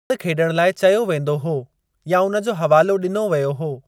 रांदि खेॾणु लाइ चयो वेंदो हो या उन जो हवालो ॾिनो वियो हो।